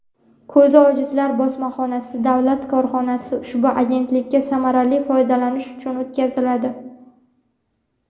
"Ko‘zi ojizlar bosmaxonasi" davlat korxonasi ushbu agentlikka samarali foydalanish uchun o‘tkaziladi.